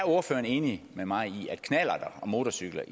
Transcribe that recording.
enig med mig i at motorcykler